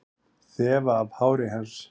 Þefa af hári hans.